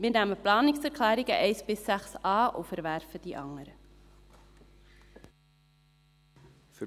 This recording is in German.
Wir nehmen die Planungserklärungen 1 bis 6 an und verwerfen die anderen.